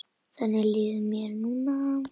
Þannig líður mér núna.